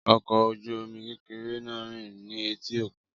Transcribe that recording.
Ọkọ̀ ojú omi kékeré náà ń rìn ní etí òkun